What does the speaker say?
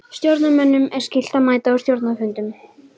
Stjórnarmönnum er skylt að mæta á stjórnarfundum.